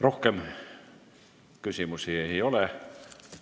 Rohkem küsimusi ei ole.